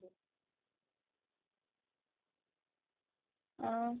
ଆଁ